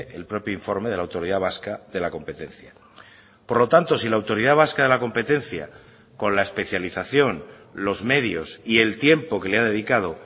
el propio informe de la autoridad vasca de la competencia por lo tanto si la autoridad vasca de la competencia con la especialización los medios y el tiempo que le ha dedicado